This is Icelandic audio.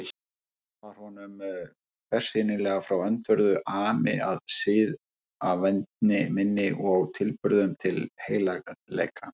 Var honum bersýnilega frá öndverðu ami að siðavendni minni og tilburðum til heilagleika.